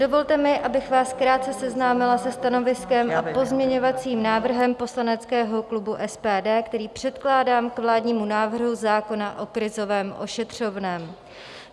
Dovolte mi, abych vás krátce seznámila se stanoviskem a pozměňovacím návrhem poslaneckého klubu SPD, který předkládám k vládnímu návrhu zákona o krizovém ošetřovném.